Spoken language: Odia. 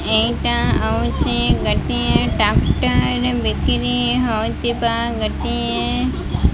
ଏଇଟା ହଉଛି ଗୋଟିଏ ବିକ୍ରି ହେଉଥିବା ଗୋଟିଏ --